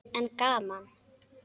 En gaman!